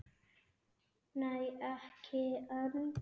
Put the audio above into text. Nei, ekki enn.